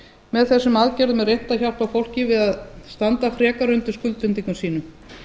með þessum aðgerðum er reynt að hjálpa fólki við að standa frekar undir skuldbindingum sínum